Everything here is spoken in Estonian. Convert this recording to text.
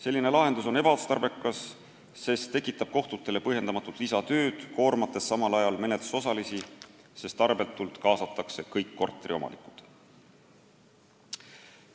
Selline lahendus on ebaotstarbekas, sest tekitab kohtutele põhjendamatut lisatööd, koormates samal ajal menetlusosalisi, sest tarbetult kaasatakse kõik korteriomanikud.